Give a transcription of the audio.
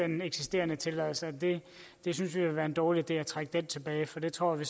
den eksisterende tilladelse vi synes det vil være en dårlig idé at trække den tilbage for det tror vi